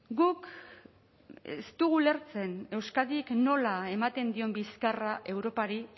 guk ez dugu ulertzen euskadik nola ematen dion bizkarra europari